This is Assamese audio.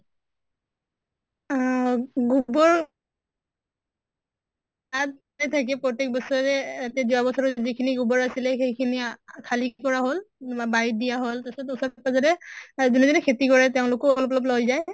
উম গোবৰ থাকে প্ৰত্য়েক বছৰে এহ যোৱা বছৰে যিমান খিনি গোবৰ আছিলে সেইখিনি আহ খালি কৰা হʼল মমা বাৰিত দিয়া হʼল তাছত তাছত একেবাৰে যোনে যোনে খেতি কৰে তেওঁলোকো অলপ অলপ লৈ যায়